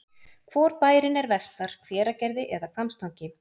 Hvor bærinn er vestar, Hveragerði eða Hvammstangi?